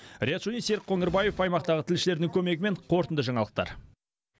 риат шони серік қоңырбаев аймақтағы тілшілерінің көмегімен қорытынды жаңалықтар